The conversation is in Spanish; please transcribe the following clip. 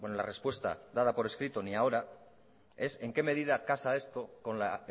la respuesta dada por escrito ni ahora es en qué medida casa esto con la